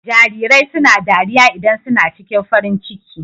Jarirai suna dariya idan su na ciki farin ciki.